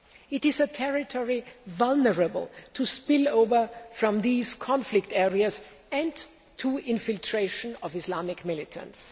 It is a territory vulnerable to spill over from these conflict areas and to infiltration by Islamic militants.